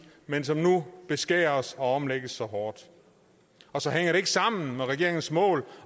men som nu beskæres og omlægges så hårdt og så hænger det ikke sammen med regeringens mål